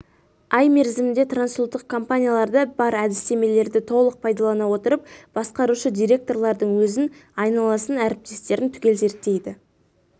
ай мерзімінде трансұлттық компанияларда бар әдістемелерді толық пайдалана отырып басқарушы директорлардың өзін айналасын әріптестерін түгел зерттейді